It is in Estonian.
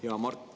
Hea Mart!